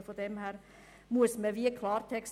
Daher wäre ich froh, wenn man das klärt.